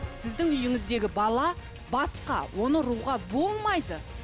сіздің үйіңіздегі бала басқа оны ұруға болмайды